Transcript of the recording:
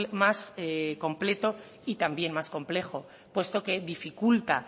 más completo y también más complejo puesto que dificulta